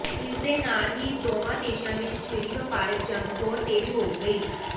ਇਸ ਦੇ ਨਾਲ ਹੀ ਦੋਵਾਂ ਦੇਸ਼ਾਂ ਵਿਚ ਛਿੜੀ ਵਪਾਰਿਕ ਜੰਗ ਹੋਰ ਤੇਜ ਹੋ ਗਈ